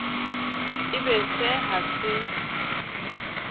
e be se ha se